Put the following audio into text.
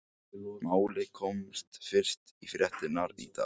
Málið komst fyrst í fréttirnar í dag.